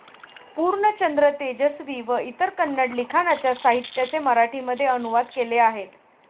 पूर्णचंद्र तेजस्वी व इतर कन्नड लिखाणाच्या साहित्याचे मराठीमध्ये अनुवाद केले आहेत.